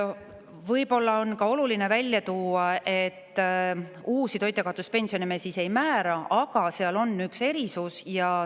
Võib-olla on oluline välja tuua ka see, et uusi toitjakaotuspensione me ei määra, aga seal on üks erisus.